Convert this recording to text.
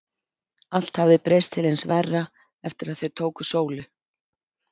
Allt hafði breyst til hins verra eftir að þau tóku Sólu.